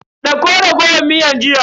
Dauko raguwar miyar jiya.